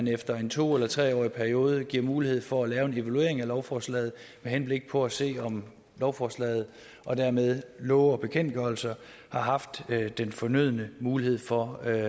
efter en to eller tre årig periode giver mulighed for at lave en evaluering af lovforslaget med henblik på at se om lovforslaget og dermed love og bekendtgørelser har haft den fornødne mulighed for at